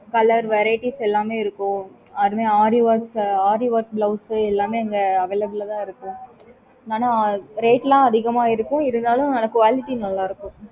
colour variety எல்லாமே இருக்கும். அதுவே aari work aari work blouse எல்லாமே அங்க available தான் இருக்கும் ஆனா rate லாம் அதிகமா இருக்கும் இருந்தாலும் quality நல்ல இருக்கும்